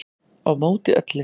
Á móti öllu